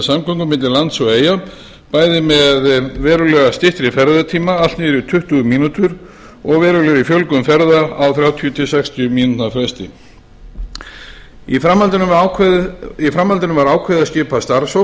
samgöngum milli lands og eyja bæði með verulega styttri ferðatíma allt niður í tuttugu mínútur og verulegri fjölgun ferða á þrjátíu til sextíu mínútna fresti í framhaldinu var ákveðið að skipa starfshóp til